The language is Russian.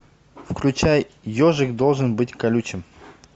включай ежик должен быть колючим